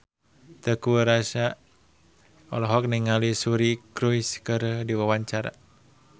Teuku Rassya olohok ningali Suri Cruise keur diwawancara